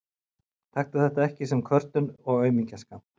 Góða taktu þetta ekki sem kvörtun og aumingjaskap.